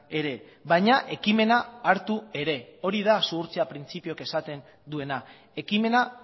ere baina ekimena hartu ere hori da zuhurtzia printzipiok esaten duena ekimena